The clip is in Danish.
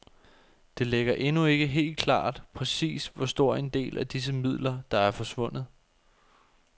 Det ligger endnu ikke helt klart præcis hvor stor en del af disse midler, der er forsvundet.